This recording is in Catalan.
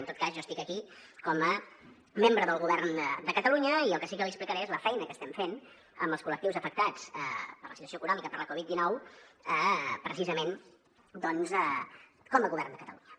en tot cas jo estic aquí com a membre del govern de catalunya i el que sí que li explicaré és la feina que estem fent amb els col·lectius afectats per la situació econòmica per la covid dinou precisament doncs com a govern de catalunya